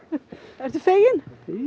ertu feginn